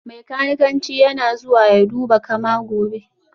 Mai kanikanci yana zuwa ya duba kama gobe